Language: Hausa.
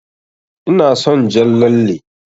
Ina son jan lalle.